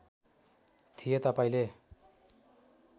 थिएँ तपाईँंले